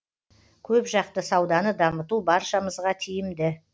көпжақты сауданы дамыту баршамызға тиімді